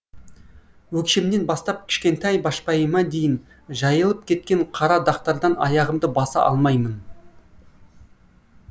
өкшемнен бастап кішкентай башпайыма дейін жайылып кеткен қара дақтардан аяғымды баса алмаймын